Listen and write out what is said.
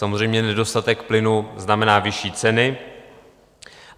Samozřejmě nedostatek plynu znamená vyšší ceny.